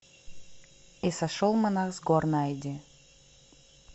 и сошел монах с гор найди